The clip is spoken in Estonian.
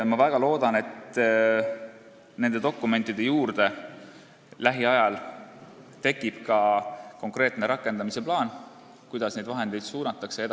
Ma väga loodan, et nende dokumentide juurde tekib lähiajal ka konkreetne rakendamise plaan, kuidas neid vahendeid edasi suunatakse.